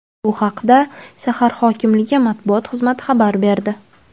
Bu haqda shahar hokimligi matbuot xizmati xabar berdi.